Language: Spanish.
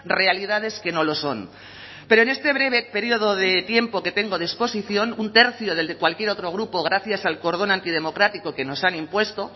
realidades que no lo son pero en este breve período de tiempo que tengo de exposición un tercio del de cualquier otro grupo gracias al cordón antidemocrático que nos han impuesto